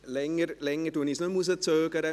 Länger zögere ich es nicht mehr hinaus: